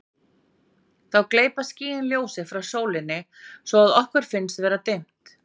Þá gleypa skýin ljósið frá sólinni svo að okkur finnst vera dimmt.